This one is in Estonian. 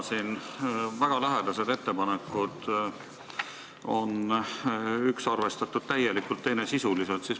Siin on väga lähedased ettepanekud, millest üht on arvestatud täielikult, teist sisuliselt.